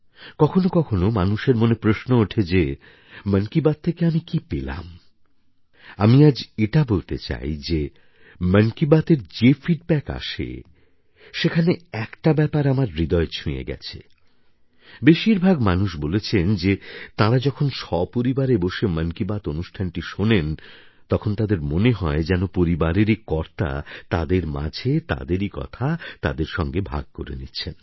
কখনও কখনও মানুষের মনে প্রশ্ন ওঠে যে মন কি বাত থেকে আমি কী পেলাম আমি আজ এটা বলতে চাই যে মন কি বাতএর যে ফিডব্যাক আসে সেখানে একটা ব্যাপার আমার হৃদয় ছুঁয়ে গেছে বেশিরভাগ মানুষ বলেছেন যে তাঁরা যখন সপরিবারে বসে মন কি বাত অনুষ্ঠানটি শোনেন তখন তাদের মনে হয় যেন পরিবারেরই কর্তা তাদের মাঝে তাদেরই কথা তাদের সঙ্গে ভাগ করে নিচ্ছেন